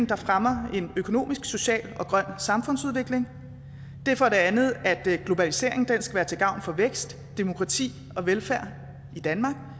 der fremmer en økonomisk social og grøn samfundsudvikling det er for det andet at globaliseringen skal være til gavn for vækst demokrati og velfærd i danmark og